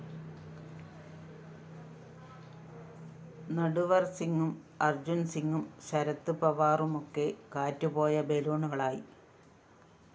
നട്‌വര്‍സിങ്ങും അര്‍ജുന്‍സിങ്ങും ശരത് പവാറുമൊക്കെ കാറ്റുപോയ ബലൂണുകളായി